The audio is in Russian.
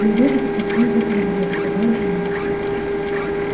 я вижу ты совсем захандрил сказал генри